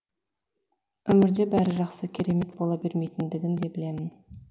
өмірде бәрі жақсы керемет бола бермейтіндігін де білемін